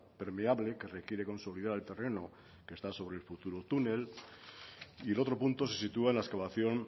permeable que requiere consolidar el terreno que está sobre el futuro túnel y el otro punto se sitúa en la excavación